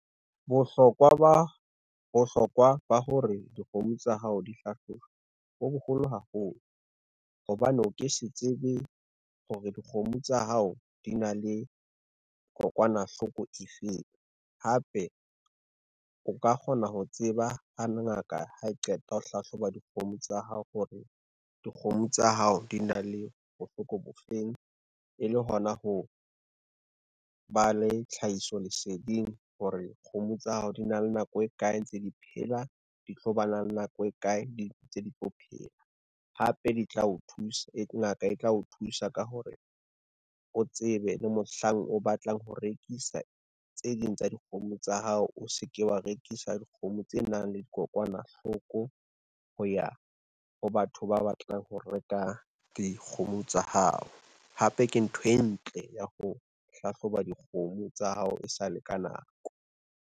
Bohlokwa ba hore dikgomo tsa hao di hlahlojwe bo boholo haholo, hobane o ke se tsebe hore dikgomo tsa hao di na le kokwanahloko e feng, hape o ka kgona ho tseba ha ngaka ha e qeta ho hlahloba dikgomo tsa hao hore, dikgomo tsa hao di na le bohloko bo feng e le hona ho, ba le tlhahiso leseding hore kgomo tsa hao di na le nako e kae ntse di phela, di tlo bana le nako e kae di ntse di phela. Hape ngaka e tla o thusa ka hore, o tsebe le mohlang o batlang ho rekisa tse ding tsa dikgomo tsa hao o se ke wa rekisa dikgomo tse nang le dikokwanahloko ho ya ho batho ba batlang ho reka dikgomo tsa hao. Hape ke ntho e ntle ya ho hlahloba dikgomo tsa hao e sale ka nako.